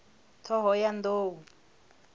ṱhohoyanḓou